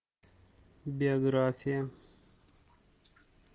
биография